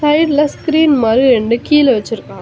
சைடுல ஸ்கிரீன் மாரி ரெண்டு கீழ வச்சிருக்கா.